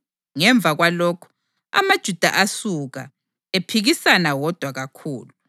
Ngemva kwalokhu, amaJuda asuka, ephikisana wodwa kakhulu.] + 28.29 Livesi kayikho kwamanye amaBhayibhili esiLungu.